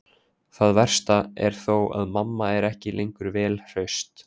Það versta er þó að mamma er ekki lengur vel hraust.